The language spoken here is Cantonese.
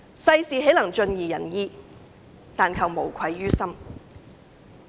"世事豈能盡如人意，但求無愧於心"。